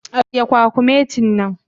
Agiye kwakumeti na.